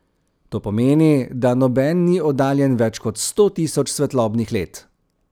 To pomeni, da noben ni oddaljen več kot sto tisoč svetlobnih let.